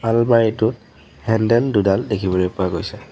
আলমাৰি টোত হেণ্ডেল দুডাল দেখিবলৈ পোৱা গৈছে।